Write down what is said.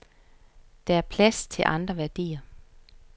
Der er plads til andre værdier.